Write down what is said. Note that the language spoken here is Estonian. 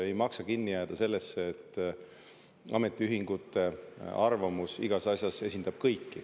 Ei maksa kinni jääda sellesse, et ametiühingute arvamus igas asjas esindab kõiki.